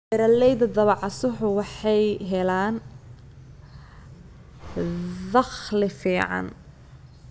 Beeralayda dabacasuhu waxay helaan dakhli fiican.